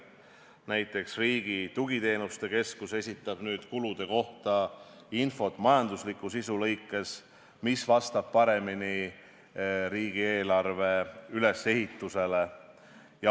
Näiteks, Riigi Tugiteenuste Keskus esitab nüüd kulude kohta infot majandusliku sisu lõikes, mis vastab paremini riigieelarve ülesehitusele.